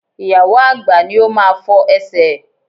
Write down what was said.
Ìyàwó àgbà ní ó máa fọ Ẹsẹ̀ ẹ̀.